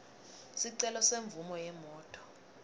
sicelo semvumo yemoti